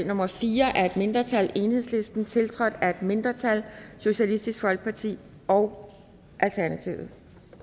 nummer fire af et mindretal enhedslisten tiltrådt af et andet mindretal socialistisk folkeparti og alternativet